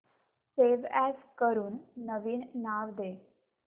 save as करून नवीन नाव दे